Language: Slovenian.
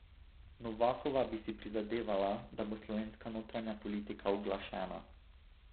Novakova bi si prizadevala, da bo slovenska notranja politika uglašena.